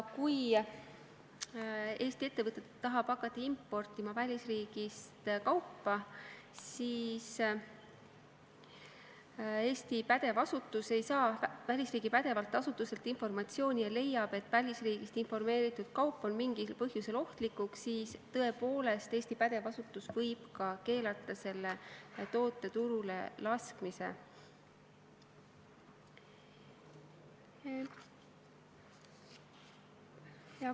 Kui Eesti ettevõtja tahab hakata välisriigist kaupa importima, aga Eesti pädev asutus ei saa välisriigi pädevalt asutuselt informatsiooni ja leiab, et välisriigist imporditud kaup on mingil põhjusel ohtlik, siis tõepoolest võib Eesti pädev asutus keelata selle toote turuletoomise.